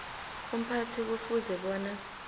umphathi kufuze bona